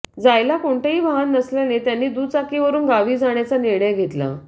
जायला कोणतंही वाहन नसल्याने त्यांनी दुचाकीवरून गावी जाण्याचा निर्णय घेतला